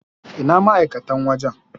Ina ma'aikatan wajan??